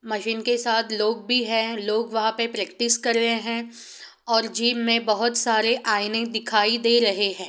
Machine के साथ लोग भी है लोग वहाँ पे प्रैक्टिस कर रहे है। और जिम मे बहुत सारे आइएने दिखाई दे रहे है।